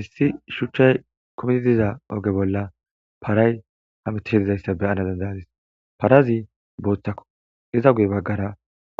issi shuchchay kometi diza oge bolla paray hamitishe dizayssa beyana dandayadis parazi booththako iza guy baggara